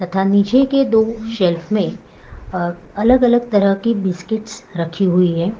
यहाँ नीचे के दो सेल्फ में अलग अलग तरह की बिस्किट्स रखी हुई है।